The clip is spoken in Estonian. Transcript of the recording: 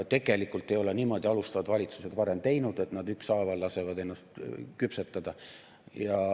Tegelikult ei ole niimoodi alustavad valitsused varem teinud, et nad ükshaaval lasevad ennast küpsetada.